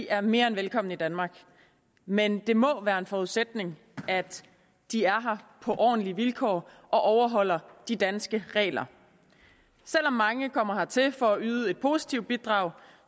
er mere end velkomne i danmark men det må være en forudsætning at de er her på ordentlige vilkår og overholder de danske regler selv om mange kommer hertil for at yde et positivt bidrag